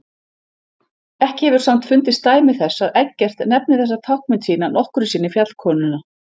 Ekki hefur samt fundist dæmi þess að Eggert nefni þessa táknmynd sína nokkru sinni fjallkonuna.